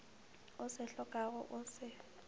o se hlokago o se